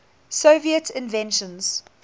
soviet inventions